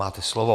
Máte slovo.